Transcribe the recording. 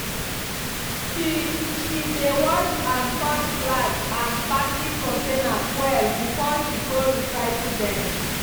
she she dey wash and sort glass and plastic containers well before she go recycle dem.